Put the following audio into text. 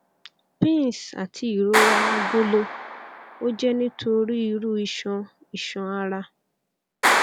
pins ati irora agolo o jẹ nitori iru iṣan iṣan ara